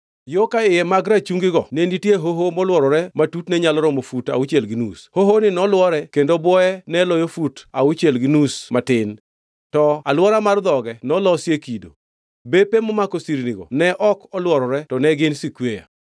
Yo ka iye mag rachungigo ne nitie hoho molworore ma tutne nyalo romo fut achiel gi nus. Hohoni nolwore, kendo bwoye ne oloyo fut achiel gi nus matin. To alwora mar dhoge nolosie kido. Bepe momako sirnigo ne ok olworore to ne gin Skweya.